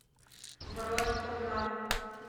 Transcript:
бронь хурма